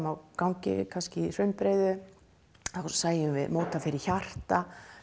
á gangi í hraunbreiðu og sæjum móta fyrir hjarta